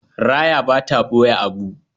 Raya ba ta ɓoye abu.